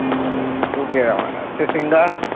ਘੁੱਗੇ ਦਾ ਤੇ ਸਿੰਘਾ